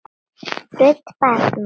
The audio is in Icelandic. Rödd barna